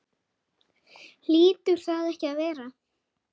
Hlýtur það ekki að vera?